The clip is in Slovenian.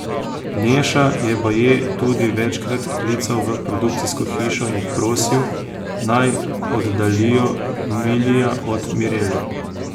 Neša je baje tudi večkrat klical v produkcijsko hišo in prosil, naj oddaljijo Milija od Mirele.